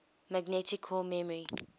magnetic core memory